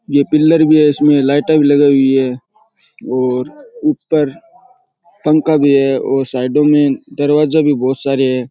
ये पिल्लर भी है और इसमें लाईटां भी लगाई हुई है और ऊपर पंखा भी है और साईडों में दरवाजे भी बहुत सारे हैं।